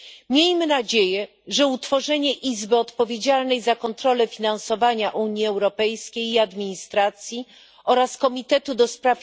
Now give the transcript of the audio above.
Miejmy nadzieję, że utworzenie izby odpowiedzialnej za kontrolę finansowania Unii Europejskiej i administracji oraz Komitetu ds.